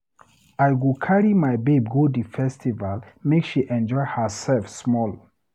I go carry my babe go di festival make she enjoy hersef small.